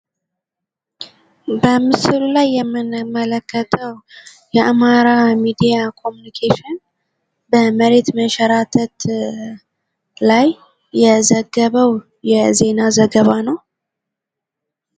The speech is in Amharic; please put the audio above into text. በምስሉ ላይ የምንመለከተው የአማራ ሚዲያ ኮምኒኬሽን በመሬት መንሸራተት ላይ የዘገበው የዜና ዘገባ ነው።